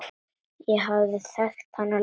Ég hafði þekkt hana lengi.